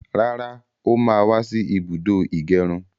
Rárá, ó má wá sí ibùdó ìgẹrun